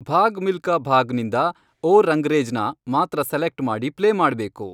ಭಾಗ್ ಮಿಲ್ಕಾ ಭಾಗ್ ನಿಂದ, ಓ ರಂಗ್ರೇಜ್ನ, ಮಾತ್ರ ಸೆಲೆಕ್ಟ್ ಮಾಡಿ ಪ್ಲೇ ಮಾಡ್ಬೇಕು